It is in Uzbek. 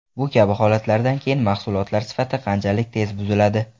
Bu kabi holatlardan keyin mahsulotlar sifati qanchalik tez buziladi?